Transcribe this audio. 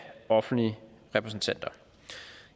offentlige repræsentanter